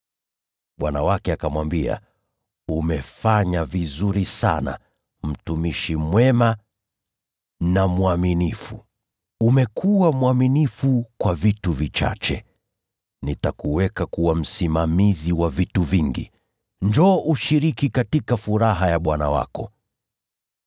“Bwana wake akamwambia, ‘Umefanya vizuri sana, mtumishi mwema na mwaminifu! Umekuwa mwaminifu kwa vitu vichache; nami nitakuweka kuwa msimamizi wa vitu vingi. Njoo ushiriki katika furaha ya bwana wako!’